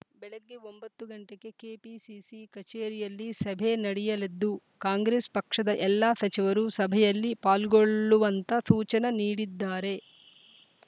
ಬೆಳಗ್ಗೆ ಒಂಬತ್ತ ಗಂಟೆಗೆ ಕೆಪಿಸಿಸಿ ಕಚೇರಿಯಲ್ಲಿ ಸಭೆ ನಡೆಯಲಿದ್ದು ಕಾಂಗ್ರೆಸ್‌ ಪಕ್ಷದ ಎಲ್ಲ ಸಚಿವರೂ ಸಭೆಯಲ್ಲಿ ಪಾಲ್ಗೊಳ್ಳುವಂತ ಸೂಚನ ನೀಡಿದ್ದಾರೆ